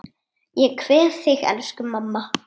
Ég kveð þig, elsku mamma.